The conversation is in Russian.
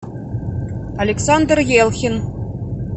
александр елхин